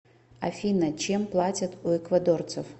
афина чем платят у эквадорцев